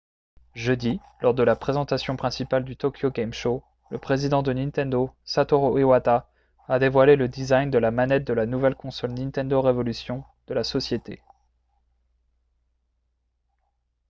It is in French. jeudi lors de la présentation principale du tokyo game show le président de nintendo satoru iwata a dévoilé le design de la manette de la nouvelle console nintendo revolution de la société